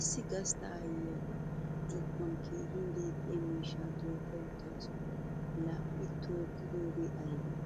Issi gastta aayyiya ba zokkuwan keehin deexxiya miishshaa tookka uttaasu Ii a tookkidoogee aybee?